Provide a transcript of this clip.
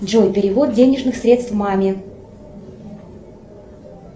джой перевод денежных средств маме